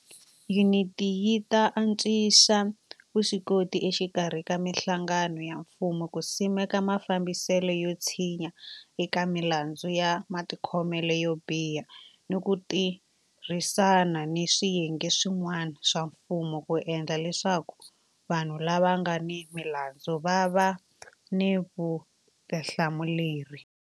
Yuniti yi ta antswisa vuswikoti exikarhi ka mihlangano ya mfumo ku simeka mafambiselo yo tshinya eka milandzu ya matikhomelo yo biha ni ku tirhisana ni swiyenge swi n'wana swa mfumo ku endla leswaku vanhu lava nga ni milandzu va va ni vutihlamuleri.